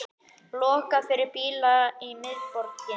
Lokað fyrir bíla í miðborginni